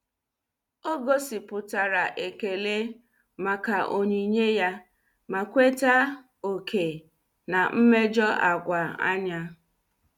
Ọ gosipụtara ekele maka onyinye ya ma kweta oké na mmejọ agwa anya.